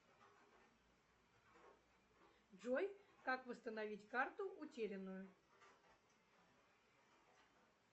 джой как восстановить карту утерянную